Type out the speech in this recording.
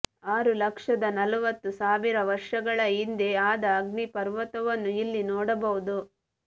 ಆರು ಲಕ್ಷದ ನಲವತ್ತು ಸಾವಿರ ವರ್ಷಗಳ ಹಿಂದೆ ಆದ ಅಗ್ನಿಪರ್ವತವನ್ನು ಇಲ್ಲಿ ನೋಡಬಹುದು